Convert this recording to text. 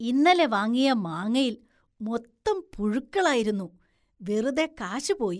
ഇന്നലെ വാങ്ങിയ മാങ്ങയില്‍ മൊത്തം പുഴുക്കളായിരുന്നു, വെറുതെ കാശ് പോയി.